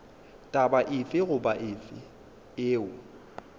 taba efe goba efe yeo